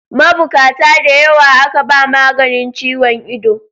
Mabukata da yawa aka ba maganin ciwon ido.